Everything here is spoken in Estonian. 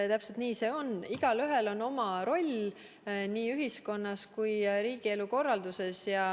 Täpselt nii see on, igaühel on oma roll nii ühiskonnas kui ka riigielu korralduses.